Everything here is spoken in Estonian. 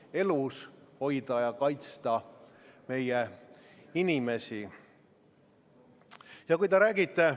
Aga sellele vaatamata, nagu ma ütlesin, eelarve on väga hea, see kaitseb ja hoiab meie riiki ja meie rahvast ning viib meid edasi tulevikku, et me saaksime olla kindlad, et me ei peaks kartma ega värisema homse ees.